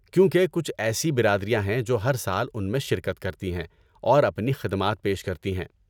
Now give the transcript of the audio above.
کیونکہ کچھ ایسی برادریاں ہیں جو ہر سال ان میں شرکت کرتی ہیں اور اپنی خدمات پیش کرتی ہیں۔